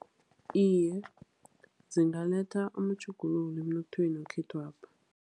Iye, zingaletha amatjhuguluko emnothweni wekhethwapha.